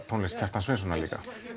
tónlist Kjartans Sveinssonar líka